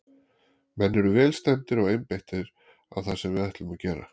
Menn eru vel stemmdir og einbeittir á það sem við ætlum að gera.